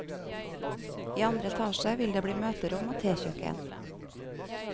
I andre etasje vil det bli møterom og tekjøkken.